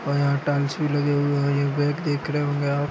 --ओर यह टाईल्स भी लगे हुए और यहाँ पे बेड भी देख रहे होगे आप।